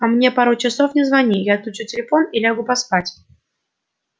а мне пару часов не звони я отключу телефон и лягу поспать